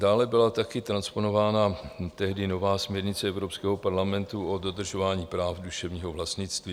Dále byla taky transponována tehdy nová směrnice Evropského parlamentu o dodržování práv duševního vlastnictví.